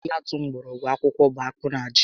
Ihe atụ mgbọrọgwụ ákùkù bụ akpụ na ji